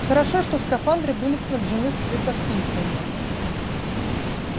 хорошо что скафандры были снабжены светофильтрами